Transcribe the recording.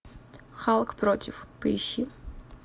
халк против поищи